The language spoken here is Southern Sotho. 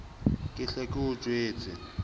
ke hle ke o jwetse